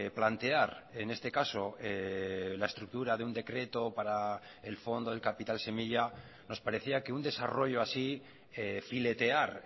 plantear en este caso la estructura de un decreto para el fondo del capital semilla nos parecía que un desarrollo así filetear